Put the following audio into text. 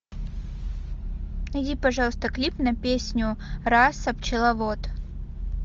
найди пожалуйста клип на песню раса пчеловод